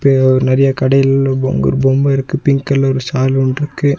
இங்க ஒரு நெறைய கடைகள் அங்க ஒரு பொம்மருக்கு பிங்க் கலர் ஷால்வ ஒன்ருக்கு.